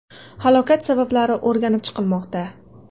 Halokat sabablari o‘rganib chiqilmoqda.